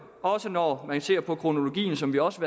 når man ser på kronologien som vi også